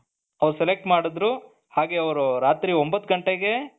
ಅವರು select ಮಾಡಿದ್ರು ಹಾಗೆ ಅವ್ರು ರಾತ್ರಿ ಒಂಬತ್ತು ಗಂಟೆಗೆ .